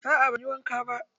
A'a banyi wanka ba.